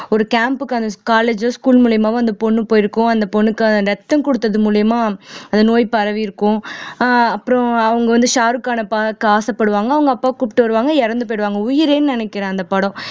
ஒரு camp க்கான college ஓ school மூலியமாவோ அந்த பொண்ணு போயிருக்கும் அந்த பொண்ணுக்கான ரத்தம் குடுத்தது மூலியமா அந்த நோய் பரவியிருக்கும் ஆஹ் அப்புறம் அவங்க வந்து ஷாருக்கான பார்க்க ஆசைப்படுவாங்க அவங்க அப்பாவை கூப்பிட்டு வருவாங்க இறந்து போயிடுவாங்க உயிரேன்னு நினைக்கிறேன் அந்த படம்